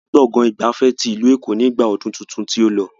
A lọ sí gbọ̀ngàn ìgbafẹ́ tí ìlú Èkó ni igba ọdún tuntun tí ó lọ.